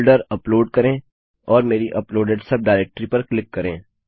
folder upload करें और मेरी अपलोडेड सब डाइरेक्टरी पर क्लिक करें